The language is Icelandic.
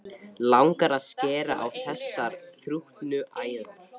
Langar að skera á þessar þrútnu æðar.